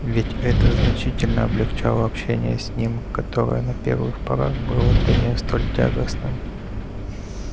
ведь это значительно облегчало общение с ним которое на первых порах было для нее столь тягостным